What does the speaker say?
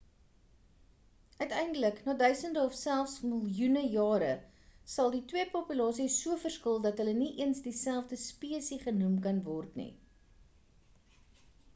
uiteindelik na duisende of self miljoene jare sal die twee populasies so verskil dat hulle nie eens dieselfde spesie genoem kan word nie